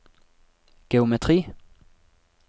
geometri